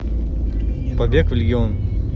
побег в легион